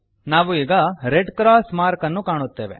ನಾವು ಈಗ red cross mark ಅನ್ನು ಕಾಣುತ್ತೇವೆ